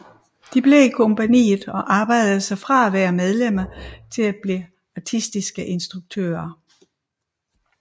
De blev i kompagniet og arbejdede sig fra at være medlemmer til at blive artistiske instruktører